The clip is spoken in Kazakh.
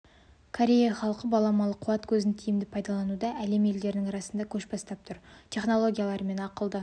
корея халқы баламалы қуат көзін тиімді пайдалануда әлем елдері арасында көш бастап тұр технологиялары мен ақылды